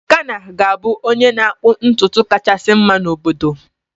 Tekena ga-abụ onye na-akpụ ntutu kachasị mma n'obodo.